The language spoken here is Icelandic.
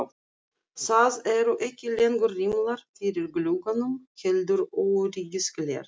Það eru ekki lengur rimlar fyrir gluggunum heldur öryggisgler.